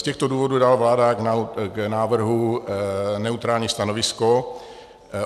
Z těchto důvodů dává vláda k návrhu neutrální stanovisko.